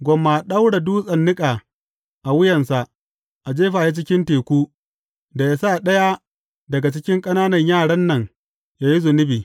Gwamma a ɗaura dutsen niƙa a wuyansa, a jefa shi cikin teku, da ya sa ɗaya daga cikin ƙananan yaran nan ya yi zunubi.